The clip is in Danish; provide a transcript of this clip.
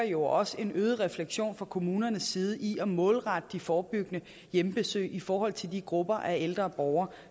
jo også en øget refleksion fra kommunernes side i at målrette de forebyggende hjemmebesøg i forhold til de grupper af ældre borgere